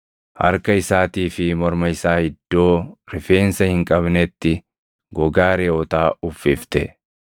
Harka isaatii fi morma isaa iddoo rifeensa hin qabnetti gogaa reʼootaa uffifte.